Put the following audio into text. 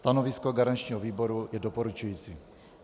Stanovisko garančního výboru je doporučující.